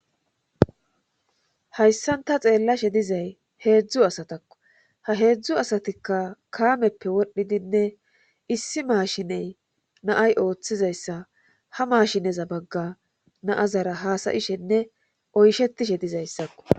hayssanta xeellashe dizay heedzdzu asatakko ha heedzdzu asatikka kaameppe wodhdhidinne issi maashiney naay ooththizayssa ha maashineza bagga naazara haasayishenne oyshetishe dizayssakko